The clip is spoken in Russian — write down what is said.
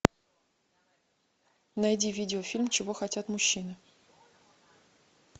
найди видеофильм чего хотят мужчины